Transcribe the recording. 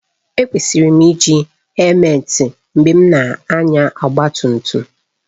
Ekwesịrị m iji hèlumeti mgbe m na-anya ọgba tum tum